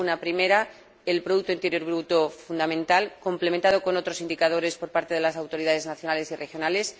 La primera, el producto interior bruto fundamental, complementado con otros indicadores por parte de las autoridades nacionales y regionales.